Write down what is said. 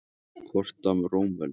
Kort af Rómaveldi.